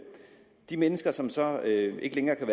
de mennesker som så ikke længere kan